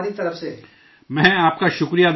میں آپ کا شکریہ ادا کرتا ہوں